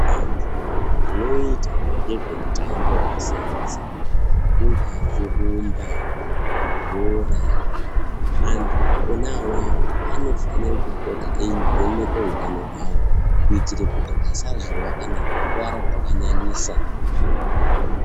Antu anoita ngezvemitambo yakasiyana siyana kungawa kurumba bhora antu ona awawa anofanirwa pota eivhenekwe utano hwawo kuitire kuti asazowa kana kukuwara zvakanyanyisa.